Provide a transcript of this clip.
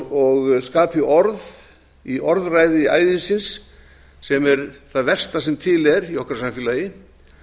og skapi orð í orðræði æðisins sem er það versta sem til er í okkar samfélagi